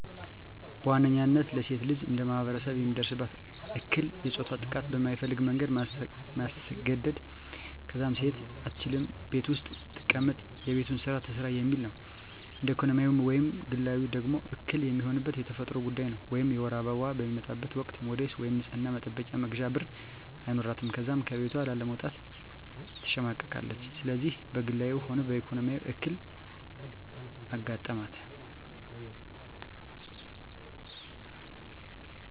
በዋነኝነታ ለሴት ልጅ እንደማህበረሰብ የሚደርስባት እክል የፆታዊ ጥቃት በማትፈልገው መንገድ ማስገድ፣ ከዛም ሴት አትችልም ቤት ውስጥ ትቀመጥ የቤቱን ስራ ትስራ የሚል ነው። እንደ ኢኮኖሚያዊ ወይም ግላዊ ደግሞ እክል የሚሆንባት የተፈጥሮ ጉዳይ ነው ወይም የወር አበባዋ በሚመጣበት ወቅት ሞዴስ ወይም የንፅህና መጠበቂያ መግዣ ብር አይኖራትም ከዛም ከቤቷ ለመውጣት ትሸማቀቃለች። ስለዚህ በግላዊ ሆነ በኢኮኖሚ እክል አጋጠማት።